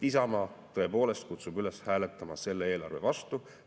Isamaa tõepoolest kutsub üles hääletama selle eelarve vastu.